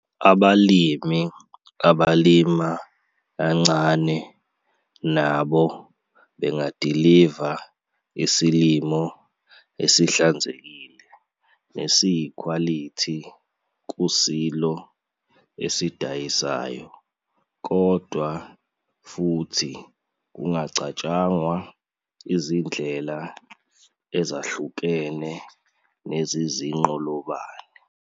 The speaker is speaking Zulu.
Abalimi abalima kancane nabo bangadiliva isilimo esihlanzekile nesiyikhwalithi kusilo eDayisayo kodwa futhi kungacatshangwa izindlela ezahlukene zezinqolobane.